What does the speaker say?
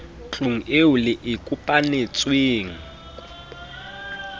tlung eo le e kopanetsweng